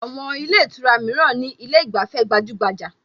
Àwọn ilé ìtura mìíràn ní ilé ìgbafẹ́ gbajúgbajà